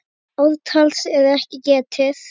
Ártals er ekki getið.